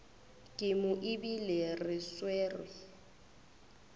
ke mo ebile re swere